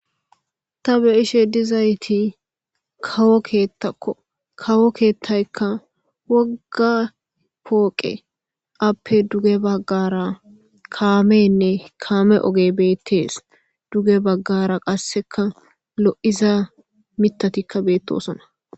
ta beishe dizayti kawo keettakko kawo keettaykka wogga pooqe appe duge baggara kaamenne kaame oge beettees duge baggara qasseka lo7iza mitatikka beettosona